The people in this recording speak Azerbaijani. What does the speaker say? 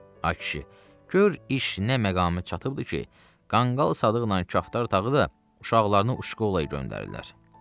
A kişi, gör iş nə məqama çatıbdır ki, qanqal Sadıqla Kəftər Darğa da uşaqlarını Uşkolaya göndərirlər.